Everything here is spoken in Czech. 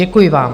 Děkuji vám.